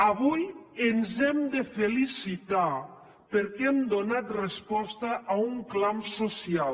avui ens hem de felicitar perquè hem donat resposta a un clam social